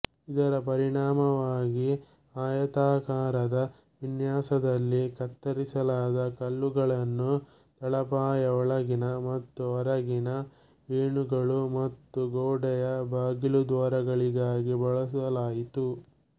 ಇದರ ಪರಿಣಾಮವಾಗಿ ಆಯತಾಕಾರದ ವಿನ್ಯಾಸದಲ್ಲಿ ಕತ್ತರಿಸಲಾದ ಕಲ್ಲುಗಳನ್ನು ತಳಪಾಯ ಒಳಗಿನ ಮತ್ತು ಹೊರಗಿನ ಏಣುಗಳು ಮತ್ತು ಗೋಡೆಯ ಬಾಗಿಲುದ್ವಾರಗಳಿಗಾಗಿ ಬಳಸಲಾಯಿತು